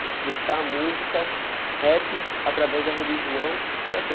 De expressar a música, rap, através da religião, para quê?